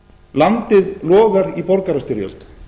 landið logar í borgarastyrjöld